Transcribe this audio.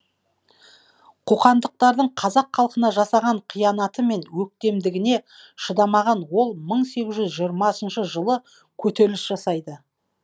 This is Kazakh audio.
қоқандықтардың қазақ халқына жасаған қиянаты мен өктемдігіне шыдамаған ол мың сегіз жүз жиырмасыншы жылы көтеріліс жасайды